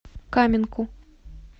каменку